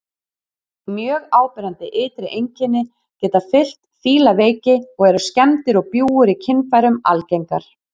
Mjög áberandi ytri einkenni geta fylgt fílaveiki og eru skemmdir og bjúgur í kynfærum algengar.